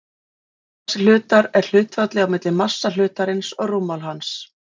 eðlismassi hlutar er hlutfallið á milli massa hlutarins og rúmmáls hans